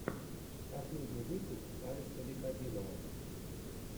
последний выпуск алекса викодинова